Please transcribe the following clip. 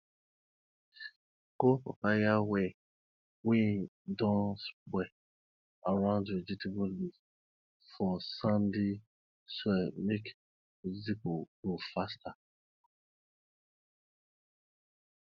pour papaya whey wey don spoil around vegetable leaves for sandy soil make vegetables grow faster